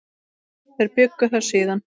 Þeir bjuggu þar síðan.